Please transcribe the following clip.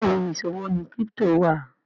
Béèni ìṣòwò ní crypto wa.